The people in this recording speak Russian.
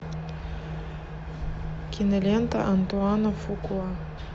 кинолента антуана фукуа